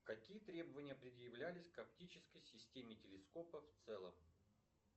какие требования предъявлялись к оптической системе телескопа в целом